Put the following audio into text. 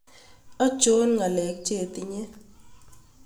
ancho ngalek chetinye